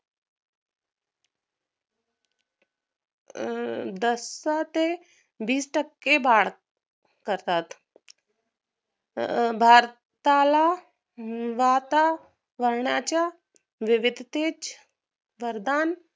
अं दस टक्के बीस टक्के भाडं खातात भारताला वातावरणाच्या विविधतेच वरदान